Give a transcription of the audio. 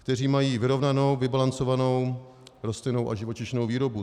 Kteří mají vyrovnanou, vybalancovanou rostlinnou a živočišnou výrobu.